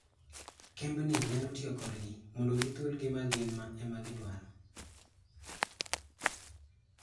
Kembni nyalo tiyo kodgi mondo gihul gima gin ema gidwaro.